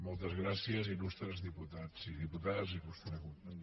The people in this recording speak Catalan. moltes gràcies il·lustres diputats i diputades honorable conseller